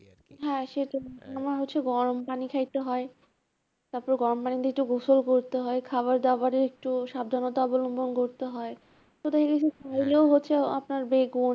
হ্যাঁ সেটা আমার হচ্ছে গরম পানি খাইতে হয় তারপরে গরম পানি দিয়ে একটু গোসল করতে হয়, খাবারদাবারেও একটু সাবধানতা অবলম্বন করতে হয় হচ্ছে আ~ আপনার